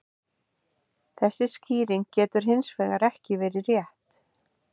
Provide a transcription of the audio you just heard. Þessi skýring getur hins vegar ekki verið rétt.